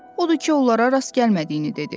Odur ki, onlara rast gəlmədiyini dedi.